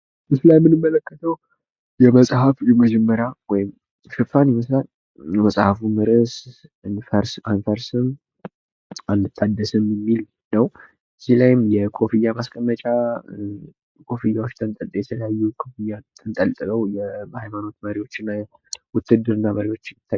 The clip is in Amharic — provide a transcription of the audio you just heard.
ምስሉ ላይ የምንመለከተው የመጽሃፍ የመጀመርያ ወይም ሽፋን ይመስላል ፤ የመጽሃፉም ርእስ አንፈርስም አንታደስም የሚል ነው። እዚህ ላይም የኮፍያ ማስቀመጫ፣ ኮፍያ ተንጠልጥለው፣ የሃይማኖት መሪዎች እና የዉትድርና መሪዎች ይታያሉ።